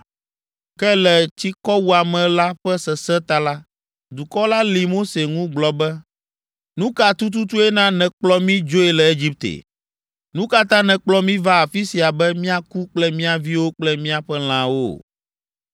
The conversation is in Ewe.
Ke le tsikɔwuame la ƒe sesẽ ta la, dukɔ la lĩ Mose ŋu gblɔ be, “Nu ka tututue na nèkplɔ mí dzoe le Egipte? Nu ka ta nèkplɔ mí va afi sia be míaku kple mía viwo kple míaƒe lãwo?”